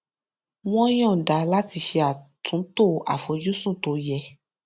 wọn yọnda láti ṣe àtúntò àfojúsùn tó yẹ